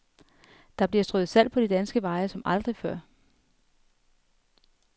Der bliver strøet salt på de danske veje som aldrig før.